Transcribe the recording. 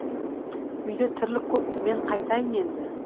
үйде тірлік көп мен қайтайын енді